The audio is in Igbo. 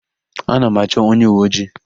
Ana m achọ onyeuweojii.